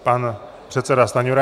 Pan předseda Stanjura.